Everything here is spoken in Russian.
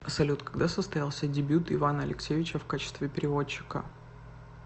салют когда состоялся дебют ивана алексеевича в качестве переводчика